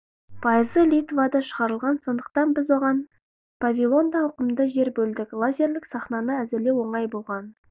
пайызы литвада шығарылған сондықтан біз оған павильонда ауқымды жер бөлдік лазерлік сахнаны әзірлеу оңай болған